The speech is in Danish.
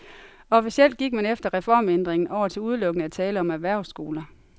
Officielt gik man efter reformændringen over til udelukkende at tale om erhvervsskoler.